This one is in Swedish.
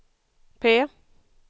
P